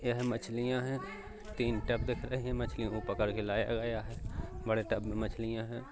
यह मछलियाँ है तीन टब दिख रहे है मछलियों को पकड के लाया गया है। बड़े टब में मछलियाँ हैं।